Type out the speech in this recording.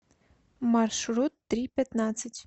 маршрут три пятнадцать